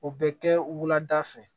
O bɛ kɛ wulada fɛ